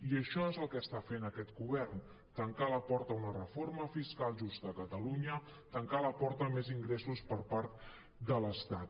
i això és el que està fent aquest govern tancar la porta a una reforma fiscal justa a catalunya tancar la porta a més ingressos per part de l’estat